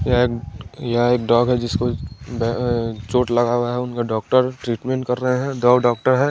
यह एक यह एक डॉग है जिसको ब अ चोट लगा हुआ है उनको डॉक्टर ट्रीटमेंट कर रहे है दो डोक्टर हैं।